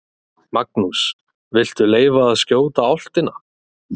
Magnús: Viltu leyfa að skjóta álftina?